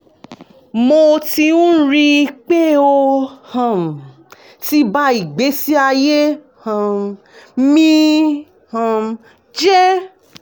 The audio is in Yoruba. mo ti ń rí i pé ó um ti ba ìgbésí ayé um mi um jẹ́